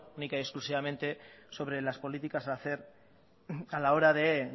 única y exclusivamente sobre las políticas a hacer a la hora de